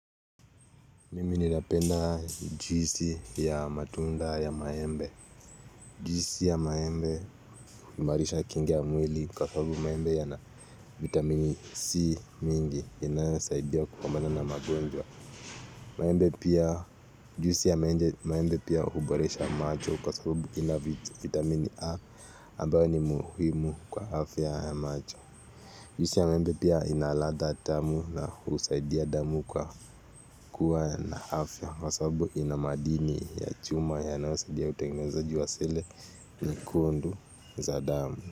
Mimi nilapenda juisi ya matunda ya maembe Juhisi ya maembe kumarisha kinga mwili kwa sababu maembe ya na vitamini C mingi Inayozaidia kufambana na magonjwa Juhisi ya maembe pia huboresha macho kwa sababu ina vitamini A ambao ni muhimu kwa afya ya macho Juhisi ya maembe pia inaradha tamu na husaidia damu kwa kuwa na afya Kwa sababu ina madini ya chuma ya nayo zaidia utegeneza juwa sele nyekundu za damu.